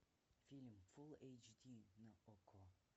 фильм фулл эйч ди на окко